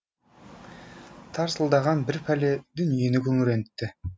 тарсылдаған бір пәле дүниені күңірентті